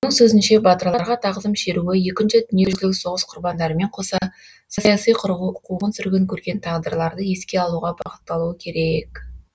оның сөзінше батырларға тағзым шеруі екінші дүниежүзілік соғыс құрбандарымен қоса саяси қуғын сүргін көрген тағдырларды еске алуға бағытталуы керек